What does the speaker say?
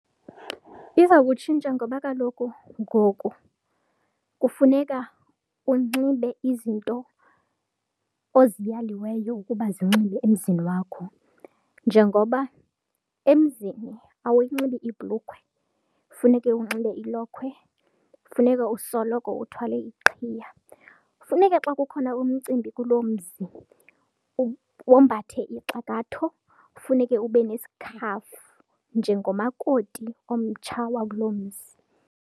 Iza kutshintsha ngoba kaloku ngoku kufuneka unxibe izinto oziyaliweyo ukuba zinxibe emzini wakho njengoba emzini awuyinxibi ibhulukhwe funeke unxibe ilokhwe, funeka usoloko uthwale iqhiya, funeka xa kukhona umcimbi kuloo mzi wombathe ixakatho, funeke ube nesikhafu njengomakoti omtsha wakuloo mzi.